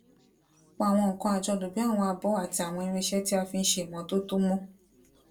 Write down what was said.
pa àwọn nnkan àjọlò bíi àwọn abọ àti àwọn irinṣẹ tí a fi n ṣe ìmọtótó mọ